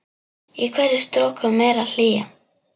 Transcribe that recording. Í hverri stroku meiri hlýja.